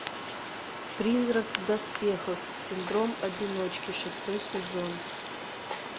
призрак в доспехах синдром одиночки шестой сезон